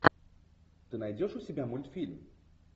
ты найдешь у себя мультфильм